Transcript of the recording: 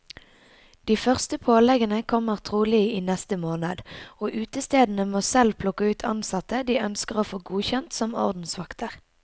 De første påleggene kommer trolig i neste måned, og utestedene må selv plukke ut ansatte de ønsker å få godkjent som ordensvakter.